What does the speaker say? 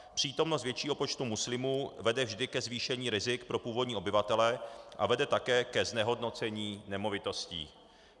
Přítomnost většího počtu muslimů vede vždy ke zvýšení rizik pro původní obyvatele a vede také ke znehodnocení nemovitostí.